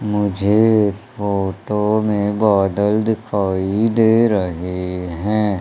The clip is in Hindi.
मुझे इस फोटो में बादल दिखाई दे रहे हैं।